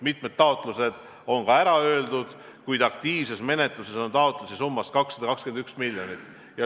Mitmele taotlejale on ka ära öeldud, kuid aktiivses menetluses on taotlusi summas 221 miljonit.